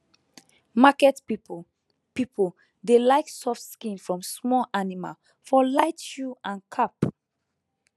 market people people dey like soft skin from small animal for light shoe and cap